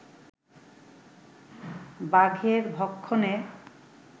বাঘের ভক্ষণে